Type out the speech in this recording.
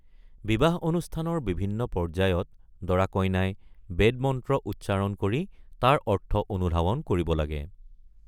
বিবাহ অনুষ্ঠানৰ বিভিন্ন পৰ্যায়ত দৰা-কইনাই বেদ মন্ত্ৰ উচ্চাৰণ কৰি তাৰ অৰ্থ অনুধাৱন কৰিব লাগে।